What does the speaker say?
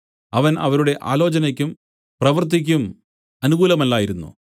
അവൻ അവരുടെ ആലോചനയ്ക്കും പ്രവൃത്തിക്കും അനുകൂലമല്ലായിരുന്നു